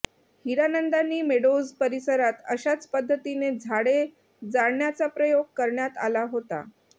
Hiranandani Meadows परिसरात अशाच पद्धतीने झाडे जाळण्याचा प्रयोग करण्यात आला होता